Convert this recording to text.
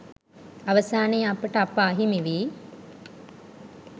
අවසානයේ අපට අප අහිමි වී